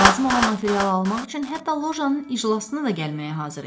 Lazım olan materialı almaq üçün hətta lojanın iclasına da gəlməyə hazır idi.